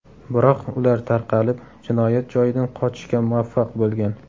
Biroq ular tarqalib, jinoyat joyidan qochishga muvaffaq bo‘lgan.